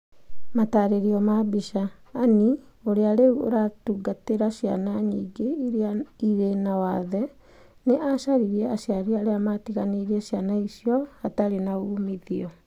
Mataarerio ma mbica: Anne, ũrĩa rĩu ũratungatĩra ciana nyingĩ irĩ na wathe nĩ aacaririe aciari arĩa maatiganĩirie ciana icio atarĩ na uumithio.